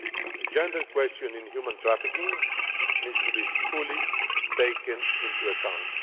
The gender question in human trafficking needs to be fully taken into account.